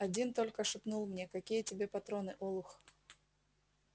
один только шепнул мне какие тебе патроны олух